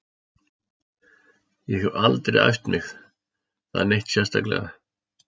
Ég hef aldrei æft það neitt sérstaklega.